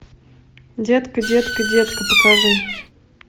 детка детка детка покажи